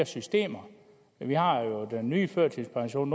systemer vi har jo den nye førtidspension